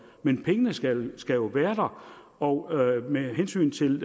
men pengene skal skal jo være der og med hensyn til